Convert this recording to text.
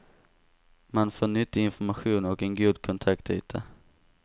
Man får nyttig information och en god kontaktyta.